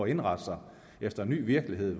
indrette sig efter en ny virkelighed